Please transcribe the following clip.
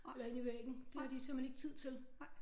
Eller ind i væggen det har de simpelthen ikke tid til